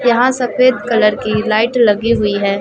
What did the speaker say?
यहां सफेद कलर की लाइट लगी हुई है।